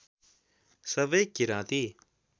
सबै किराँती